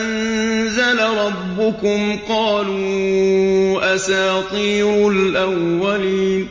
أَنزَلَ رَبُّكُمْ ۙ قَالُوا أَسَاطِيرُ الْأَوَّلِينَ